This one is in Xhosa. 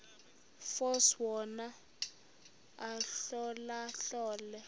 force wona ahlolahlole